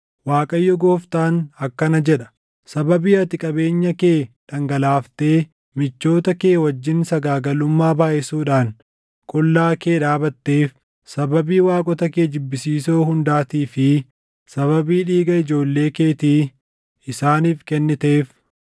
Waaqayyo Gooftaan akkana jedha: Sababii ati qabeenya kee dhangalaaftee michoota kee wajjin sagaagalummaa baayʼisuudhaan qullaa kee dhaabatteef, sababii waaqota kee jibbisiisoo hundaatii fi sababii dhiiga ijoollee keetii isaaniif kenniteef,